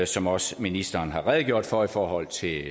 som også ministeren har redegjort for i forhold til